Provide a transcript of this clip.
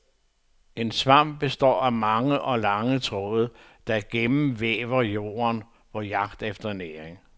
En svamp består af mange og lange tråde, der gennemvæver jorden på jagt efter næring.